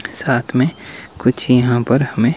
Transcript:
साथ में कुछ यहां पर हमें--